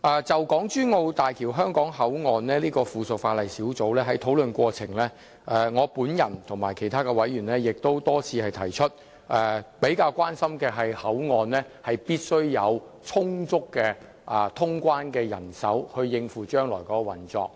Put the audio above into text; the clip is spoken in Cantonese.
就小組委員會審議的附屬法例，在討論過程中，我與其他委員均亦多次提及口岸必須有充足的通關人手以應付將來口岸的運作。